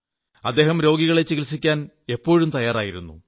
അദ്ദേഹം രോഗികളെ ചികിത്സിക്കാൻ എപ്പോഴും തയ്യാറായിരുന്നു